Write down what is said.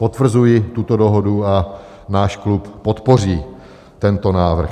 Potvrzuji tuto dohodu a náš klub podpoří tento návrh.